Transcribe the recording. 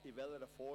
In welcher Form?